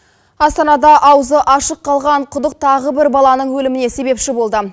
астанада аузы ашық қалған құдық тағы бір баланың өліміне себепші болды